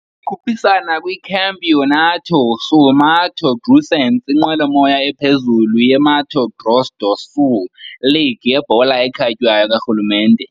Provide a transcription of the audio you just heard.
Ikhuphisana kwiCampeonato Sul-Mato-Grossense, inqwelomoya ephezulu yeMato Grosso do Sul league yebhola ekhatywayo karhulumente.